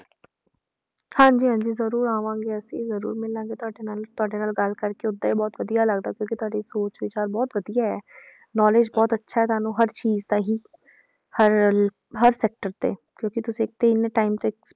ਹਾਂਜੀ ਹਾਂਜੀ ਜ਼ਰੂਰ ਆਵਾਂਗੇ ਅਸੀਂ ਜ਼ਰੂਰ ਮਿਲਾਂਗੇ ਤੁਹਾਡੇ ਨਾਲ, ਤੁਹਾਡੇ ਨਾਲ ਗੱਲ ਕਰਕੇ ਓਦਾਂ ਹੀ ਬਹੁਤ ਵਧੀਆ ਲੱਗਦਾ ਕਿਉਂਕਿ ਤੁਹਾਡੀ ਸੋਚ ਵਿਚਾਰ ਬਹੁਤ ਵਧੀਆ ਹੈ knowledge ਬਹੁਤ ਅੱਛਾ ਹੈ ਤੁਹਾਨੂੰ ਹਰ ਚੀਜ਼ ਦਾ ਹੀ ਹਰ ਹਰ sector ਤੇ ਕਿਉਂਕਿ ਤੁਸੀਂ ਇੱਥੇ ਇੰਨੇ time ਤੇ